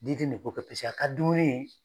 Liden ne b'o kɛ paseke a ka dumuni